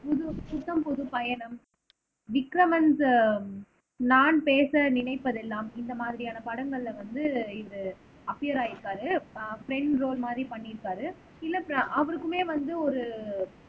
புது புத்தம் புதுப் பயணம் விக்ரமன் நான் பேச நினைப்பதெல்லாம் இந்த மாதிரியான படங்கள்ல வந்து இது அப்பியர் ஆயிருக்காரு ஆஹ் ப்ரெண்ட் ரோல் மாதிரி பண்ணியிருக்காரு இல்லை அவருக்குமே வந்து ஒரு